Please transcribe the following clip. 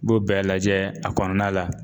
B'o bɛɛ lajɛ a kɔnɔna la.